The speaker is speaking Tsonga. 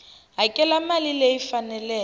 hakela mali leyi yi faneleke